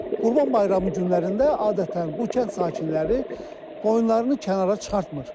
Qurban bayramı günlərində adətən bu kənd sakinləri qoyunlarını kənara çıxartmır.